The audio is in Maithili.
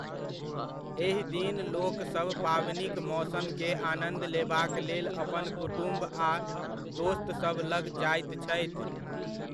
एहि दिन लोकसभ पाबनिक मौसम के आनन्द लेबाक लेल अपन कुटुम्ब आ दोस्तसभ लग जाइत छथि।